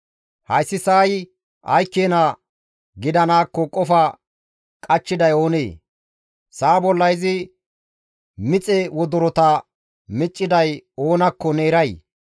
Hayssi sa7ay ay keena gidanaakko qofa qachchiday oonee? Sa7a bolla izi mixe wodorota micciday oonakko ne eray?